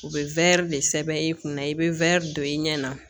U bɛ wɛri de sɛbɛn i kunna i bɛ wɛri don i ɲɛ na